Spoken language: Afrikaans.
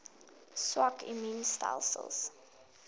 swak immuun stelsels